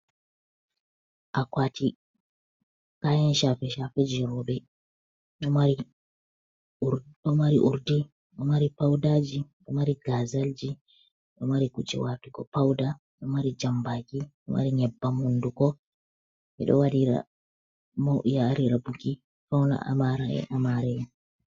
Akuwati kayan caafe caafeji roɓe, ɗomari urdi ɗo mari pawdaji, ɗo mari gazalji, ɗo mari kuje watugo pawda, ɗo mari jambaki, ɗo mari nyebban honduko, ɓeɗo wadira mayaari waɗira buki fawne, amare amaraye.